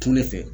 Turu ne fɛ